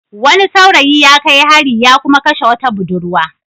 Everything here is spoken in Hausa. Wani saurayi ya kai hari ya kuma kashe wata budurwa.